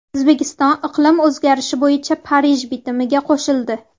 O‘zbekiston iqlim o‘zgarishi bo‘yicha Parij bitimiga qo‘shildi.